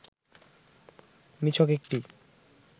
নিছক একটি